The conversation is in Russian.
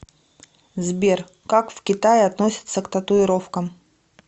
сбер как в китае относятся к татуировкам